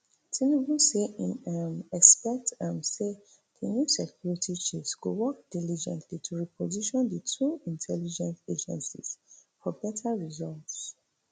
tinubu say im um expect um say di new security chiefs go work diligently to reposition di two intelligence agencies for beta results